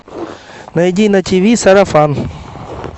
найди на тиви сарафан